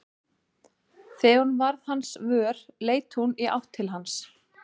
Þegar hún varð hans vör leit hún í átt til hans.